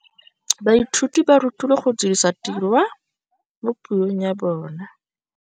Baithuti ba rutilwe go dirisa tirwa mo puong ya bone.